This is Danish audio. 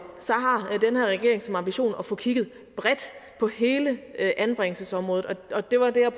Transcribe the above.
regering som ambition at få kigget bredt på hele anbringelsesområdet og det var det jeg